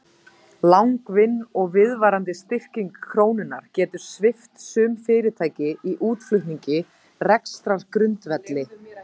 Langvinn og viðvarandi styrking krónunnar getur svipt sum fyrirtæki í útflutningi rekstrargrundvelli.